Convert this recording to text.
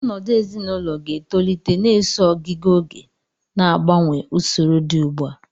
Ọnọdụ ezinaụlọ ga-etolite na-eso ogiga oge, na-agbanwe usoro dị ugbua.